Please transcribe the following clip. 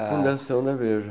Fundação da Veja.